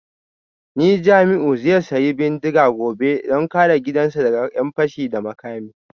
Ni Jamiu zai sayi bindiga gobe don kare gidansa daga ’yan fashi da makami